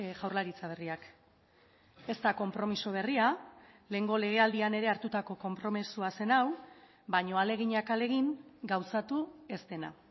jaurlaritza berriak ez da konpromiso berria lehengo legealdian ere hartutako konpromisoa zen hau baina ahaleginak ahalegin gauzatu ez dena